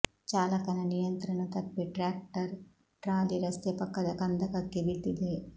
ಚಾಲಕನ ನಿಯಂತ್ರಣ ತಪ್ಪಿ ಟ್ರ್ಯಾಕ್ಟರ್ ಟ್ರಾಲಿ ರಸ್ತೆ ಪಕ್ಕದ ಕಂದಕಕ್ಕೆ ಬಿದ್ದಿದೆ